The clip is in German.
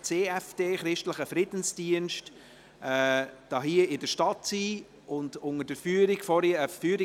Regierungsrat I beibehalten: die Werte der Bundesverfassung zu achten.